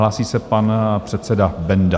Hlásí se pan předseda Benda.